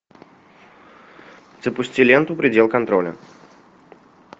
запусти ленту предел контроля